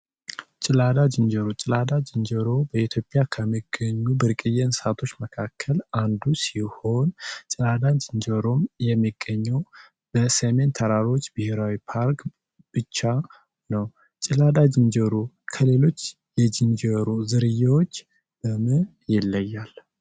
ጭላዳ ዝንጀሮ ጭላዳ ዝንጀሮ በኢትዮጵያ ከሚገኙ ብርቅየ እንስሳት ውስጥ አንዱ ሲሆን ጭላዳ ዝንጀሮ የሚገኘው በሰሜን ተራሮች ብሄራዊ ፓርክ ብቻ ነው። ጭላዳ ዝንጀሮ ከሌሎች የዝንጀሮ ዝርያዎች በምን ይለያያል?